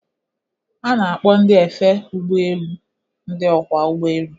A na-akpọ ndị efe ụgbọ elu ndị ọkwọ ụgbọ elu..